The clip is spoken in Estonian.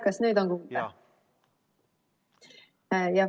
Kas nüüd on kuulda?